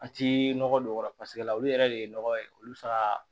An ti nɔgɔ don o kɔrɔ paseke la olu yɛrɛ de ye nɔgɔ ye olu fa